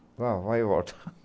Ah, vai e volta.